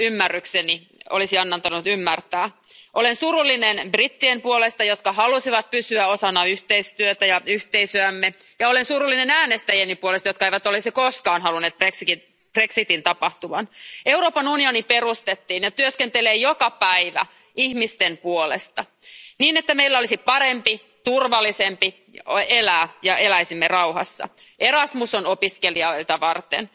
Arvoisa puhemies, äänestin eilen toisin, kuin järkeni ja ymmärrykseni olisi antanut ymmärtää. Olen surullinen brittien puolesta, jotka haluaisivat pysyä osana yhteistyötä ja yhteisöämme. Ja olen surullinen äänestäjieni puolesta, jotka eivät olisi koskaan halunneet brexitin tapahtuvan. Euroopan unioni perustettiin ja työskentelee joka päivä ihmisten puolesta, niin että meillä olisi parempi, turvallisempi elää ja eläisimme rauhassa. Erasmus on opiskelijoita varten,